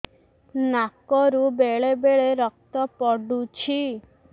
ନାକରୁ ବେଳେ ବେଳେ ରକ୍ତ ପଡୁଛି